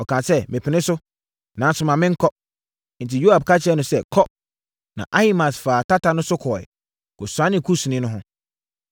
Ɔkaa sɛ, “Mepene so, nanso ma menkɔ.” Enti Yoab ka kyerɛɛ no sɛ, “Kɔ!” Na Ahimaas faa tata no so kɔeɛ, kɔsianee Kusni no ho.